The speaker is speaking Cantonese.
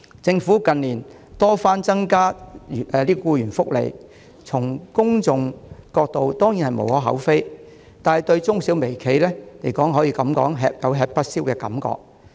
政府近年多番增加僱員福利，從公眾角度當然無可厚非，但對中小微企而言卻有吃不消之感。